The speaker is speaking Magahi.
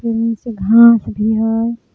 तनी से घास भी हई।